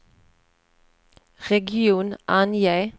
region, ange